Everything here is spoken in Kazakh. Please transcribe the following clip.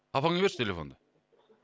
папаңа берші телефонды